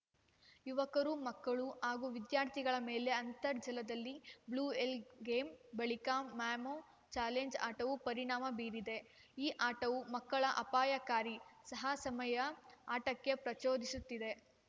ಯುವಕರು ಮಕ್ಕಳು ಹಾಗೂ ವಿದ್ಯಾರ್ಥಿಗಳ ಮೇಲೆ ಅಂತರ್ಜಲದಲ್ಲಿ ಬ್ಲೂವೇಲ್‌ ಗೇಮ್‌ ಬಳಿಕ ಮೊಮೊ ಚಾಲೆಂಜ್‌ ಆಟವು ಪರಿಣಾಮ ಬೀರಿದೆ ಈ ಆಟವು ಮಕ್ಕಳ ಅಪಾಯಕಾರಿ ಸಾಹಸಮಯ ಆಟಕ್ಕೆ ಪ್ರಚೋದಿಸುತ್ತಿದೆ